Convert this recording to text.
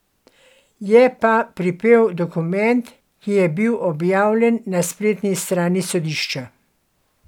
Je pa pripel dokument, ki je bil objavljen na spletni strani sodišča.